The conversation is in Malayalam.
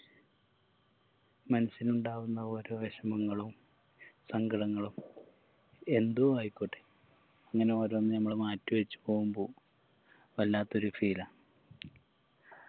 മനസിനുണ്ടാകുന്ന ഓരോ വെഷമങ്ങളും സങ്കടങ്ങളും എന്തോ ആയിക്കോട്ടെ അങ്ങനെ ഓരോന്നും നമ്മള് മാറ്റിവെച്ച് പോവുമ്പോ വല്ലാത്തൊരു feel ആ